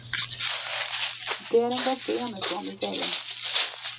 Det er en ganske enestående serie.